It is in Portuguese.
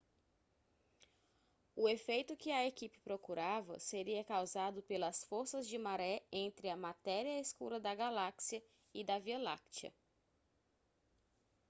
o efeito que a equipe procurava seria causado pelas forças de maré entre a matéria escura da galáxia e da via láctea